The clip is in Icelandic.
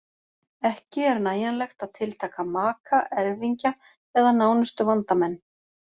Ekki er nægjanlegt að tiltaka maka, erfingja eða nánustu vandamenn.